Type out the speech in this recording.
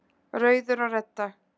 Rauður og Redda,